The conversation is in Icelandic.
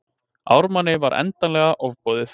Ármanni var endanlega ofboðið.